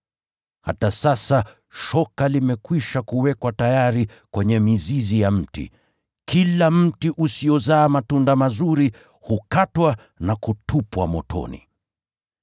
Hata sasa shoka limeshawekwa tayari kwenye shina la kila mti, basi kila mti usiozaa matunda mazuri, hukatwa na kutupwa motoni.